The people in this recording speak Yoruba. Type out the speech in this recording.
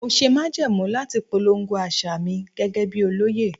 Mo ṣe májẹ̀mú láti polongo àṣà mi gẹ́gẹ́ bí olóyè.